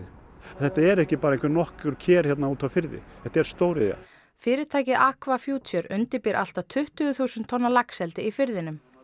þetta eru ekki bara nokkur ker hérna úti á firði þetta er stóriðja fyrirtækið undirbýr allt að tuttugu þúsund tonna laxeldi í firðinum